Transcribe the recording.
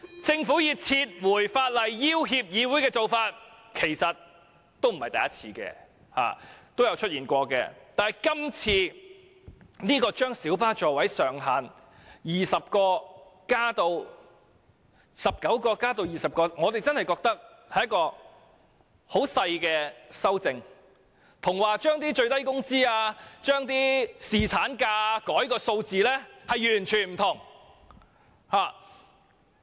政府以撤回法案要脅議會的做法不是沒有先例的，以往亦曾經出現，只不過這次將小巴的座位上限由19個增至20個，我們認為只是很小的修正案，與最低工資或侍產假所牽涉的數字完全不同。